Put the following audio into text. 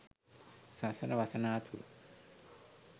සසර වසනා තුරු